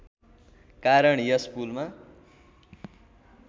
कारण यस पुलमा